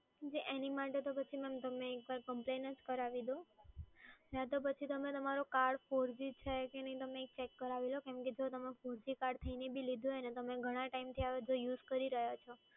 જી એની માટે તો પછી તમે કમ્પ્લેન જ કરાવી દો. નહીં તો પછી તમે તમારું કાર્ડ four g છે કે નહીં તમને એ ચેક કરાવી લો. કેમ કે જો તમે four g કાર્ડ લીધું હોય ને તમેન ઘણા ટાઈમથી આ યુઝ કરી રહ્યાં છો